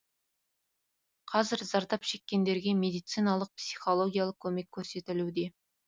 қазір зардап шеккендерге медициналық психологиялық көмек көрсетілуде